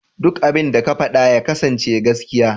Duk abinda za ka faɗa ya kasance gaskiya.